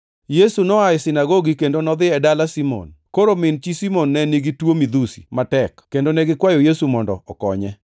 Yesu noa e sinagogi kendo nodhi e dala Simon. Koro min chi Simon ne nigi tuo midhusi matek, kendo ne gikwayo Yesu mondo okonye.